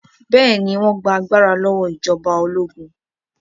Bẹ́ẹ̀ ni, wọ́n gba agbára lọ́wọ́ ìjọba ológun.